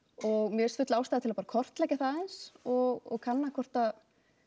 og mér finnst full ástæða til að kortleggja það aðeins og kanna hvort að